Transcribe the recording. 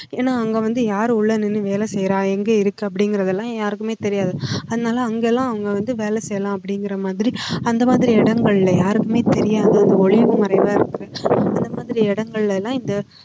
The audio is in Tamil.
ஏன்னா அங்க வந்து யாரு உள்ள நின்னு வேலை செய்யறா எங்க இருக்கு அப்படிங்கிறது எல்லாம் யாருக்குமே தெரியாது அதனால அங்கெல்லாம் அவங்க வந்து வேலை செய்யலாம் அப்படிங்கிற மாதிரி அந்த மாதிரி இடங்கள்ல யாருமே தெரியாத ஒளிவு மறைவா இருக்கு இந்த மாதிரி இடங்கள்ல எல்லாம் இந்த